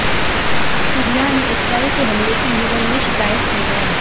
Syria ने Israel के हमले की यूएन में शिकायत की है